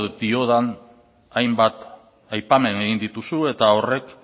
edo diodan hainbat aipamen egin dituzu eta horrek